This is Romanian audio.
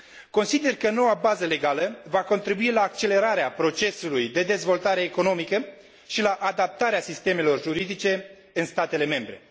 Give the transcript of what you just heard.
Consider că noua bază legală va contribui la accelerarea procesului de dezvoltare economică și la adaptarea sistemelor juridice în statele membre.